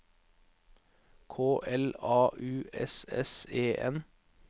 K L A U S S E N